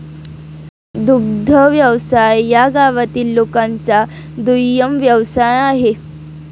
दुग्ध व्यवसाय या गावातील लोकांचा दुय्यम व्यवसाय आहे